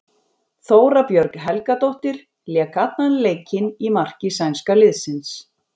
Þóra Björg Helgadóttir lék allan leikinn í marki sænska liðsins.